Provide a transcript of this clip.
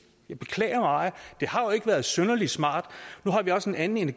jeg beklager meget det har ikke været synderlig smart nu har vi også et andet